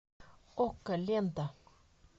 окко лента